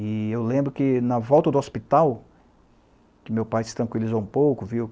E eu lembro que, na volta do hospital, que meu pai se tranquilizou um pouco, viu?